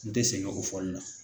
N te sɛngɛ o fɔli la.